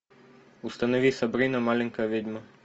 установи сабрина маленькая ведьма